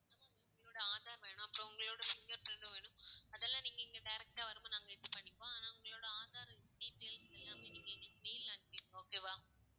உங்களோட ஆதார் வேணும். அப்பறம் உங்களோட finger print டும் வேணும். அதெல்லாம் இங்க direct ஆ வரும் போது நாங்க இது பண்ணிக்குவோம். ஆனால் உங்களோட ஆதார் details எல்லாமே நீங்க எங்களுக்கு mail ல அனுப்பிருங்க okay வா?